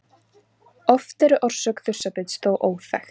Oft er orsök þursabits þó óþekkt.